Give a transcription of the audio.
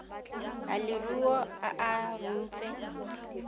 a leruo a a runtse